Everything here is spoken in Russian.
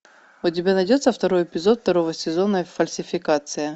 у тебя найдется второй эпизод второго сезона фальсификация